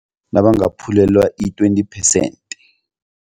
Nabangaphulelwa i-twenty percent.